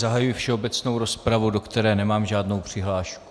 Zahajuji všeobecnou rozpravu, do které nemám žádnou přihlášku.